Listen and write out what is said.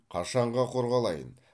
қашанға құр қалайын